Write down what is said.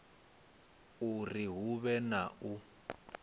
uri hu vhe na u